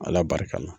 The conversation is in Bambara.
Ala barika la